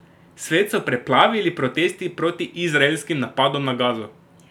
Svet so preplavili protesti proti izraelskim napadom na Gazo.